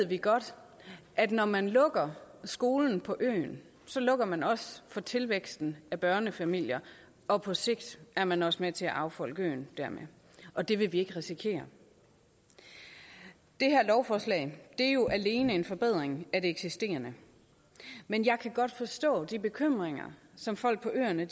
vi godt at når man lukker skolen på øen lukker man også for tilvæksten af børnefamilier og på sigt er man også dermed med til at affolke øen og det vil vi ikke risikere det her lovforslag er jo alene en forbedring af det eksisterende men jeg kan godt forstå de bekymringer som folk på øerne